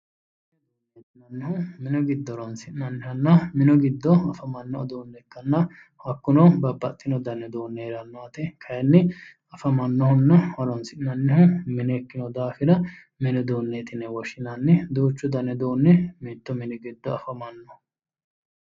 Minu giddo horonsi'nannihanna minu giddo afamanno uduunne ikkanna hakkuno babbaxino dani uduunni heeranno yaate afamannohunna horonsi'nannihu mine ikkino daafira mini uduunneeti yine woshshinanni. duuchu dani uduunni giddo mitto mine afamanno.